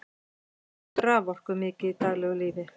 við notum raforku mikið í daglegu lífi